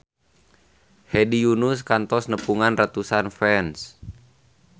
Hedi Yunus kantos nepungan ratusan fans